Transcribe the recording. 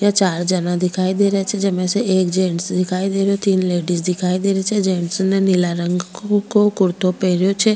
या चार जना दिखाई दे रेहा छे जेमे के एक जेन्स दिखाई दे रेहो तीन लेडिंस दिखाई दे री छे जेन्स ने नीला रंग को कुर्तो पहनयो छे।